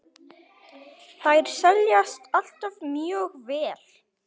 Þær seljast alltaf mjög vel.